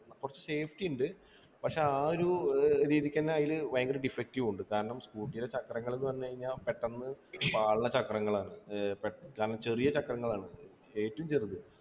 കുറച്ചു safety ഉണ്ട് പക്ഷേ ആ ഒരു ഏർ രീതിക്കെന്നെ അയില് ഭയങ്കര defective ഉണ്ട് കാരണം scooter യുടെ ചക്രങ്ങൾ എന്ന് പറഞ്ഞു കഴിഞ്ഞാ പെട്ടെന്ന് പാളുന്ന ചക്രങ്ങളാണ് ഏർ പെ കാരണം ചെറിയ ചക്രങ്ങളാണ് ഏറ്റവും ചെറുത്